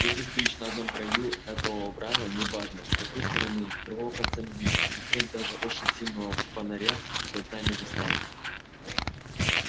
если стоишь на одном краю этого оврага не важно с какой стороны другого конца не видно и свет даже очень сильного фонаря до дна не достаёт